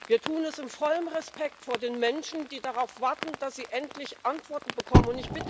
Wir tun es in vollem Respekt vor den Menschen, die darauf warten, dass sie endlich Antworten bekommen.